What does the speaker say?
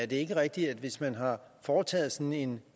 det ikke er rigtigt at hvis man har foretaget sådan en